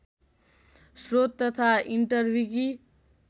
श्रोत तथा इन्टरविकि